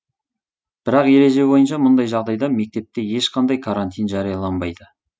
бірақ ереже бойынша мұндай жағдайда мектепте ешқандай карантин жарияланбайды